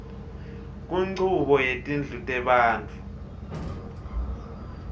kunchubo yetindlu tebantfu